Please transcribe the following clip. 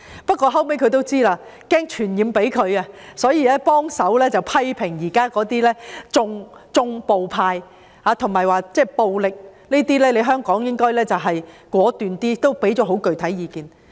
不過，後來它也擔心"傳染"到當地，所以也批評現時那些"縱暴派"，並表示香港應該果斷處理暴力，也提供很具體的意見。